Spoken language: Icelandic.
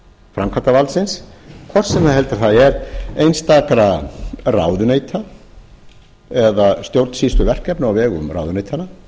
framkvæmdarvaldsins hvort sem heldur það er einstakra ráðuneyta eða stjórnsýsluverkefna á vegum ráðuneytanna